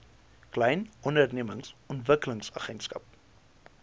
klein ondernemings ontwikkelingsagentskap